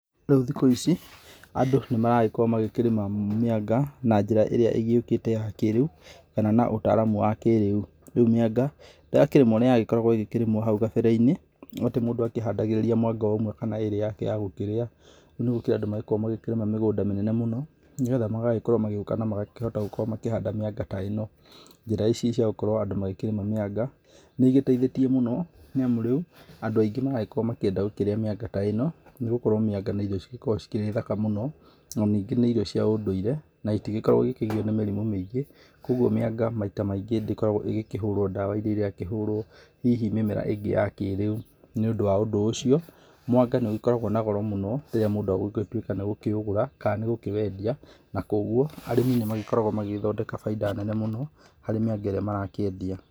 Rĩu thikũ ici andũ nĩmarakorwo magĩkĩrĩma mĩanga na njĩra ĩrĩa ĩgĩũkĩte wa kĩrĩu, kana na ũtaramu wa kĩrĩu. Rĩu mĩanga, ndĩrakĩrĩmwo ũrĩa yarĩkĩmagũo hau kabere-inĩ. Atĩ mũndũ akĩhandagĩrĩria mwanga ũmwe kana ĩrĩ yake yagũkĩria. Rĩu nĩ gũkĩrĩ andü magĩkoragwo magĩkĩrĩmaga mĩgũnda mĩnene mũno nigetha magagĩkorwo magĩũka na magakĩhota gũkorwo makĩhanda mĩanga ta ĩno. Njĩra ici cia gukorwo andũ makĩrĩma mĩanga, nĩ igĩteithĩtie mũno nĩ amu rĩu andũ aingĩ marenda gũkorwo makĩrĩa mĩanga ta ĩno nĩ gũkorwo mĩanga nĩ irio cigĩkoragwo cirĩ thaka mũno, na ningĩ nĩ irio cia ũndũire, na itigĩkoragwo igĩkĩgio nĩ mĩrimũ mĩingĩ, koguo mĩanga maita maingĩ ndĩkoragwo ĩgĩkĩihũrwo ndawa iria irakĩhũrwo hihi mĩmera ĩngĩ ya kĩrĩu. Nĩũndũ wa ũndũ ũcio, mwanga ni ugĩkoragwo na goro mũno rĩrĩa mũndũ agũgĩtuĩka nĩagũkĩũgũra kana gũkĩwendia. Na kwoguo arĩmi nĩ magĩkoragwo magĩgĩthondeka bainda nene mũno harĩ mĩanga ĩrĩa marakĩendia.